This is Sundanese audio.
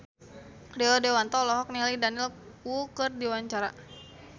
Rio Dewanto olohok ningali Daniel Wu keur diwawancara